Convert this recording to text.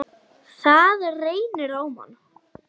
Það reynir á mann!